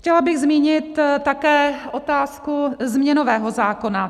Chtěla bych zmínit také otázku změnového zákona.